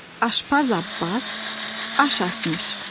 Aşpaz Abbas aş asmış.